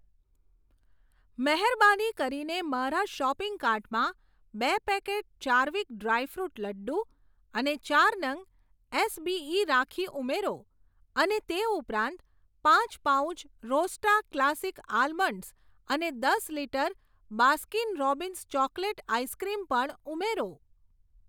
મહેરબાની કરીને મારા શોપિંગ કાર્ટમાં બે packet Charvik dry fruit laddu અને ચાર નંગ એસબીઈ રાખી ઉમેરો, અને તે ઉપરાંત પાંચ પાઉચ રોસ્ટા ક્લાસિક આલમંડસ અને દસ litre Baskin Robbins chocolate ice cream પણ ઉમેરો.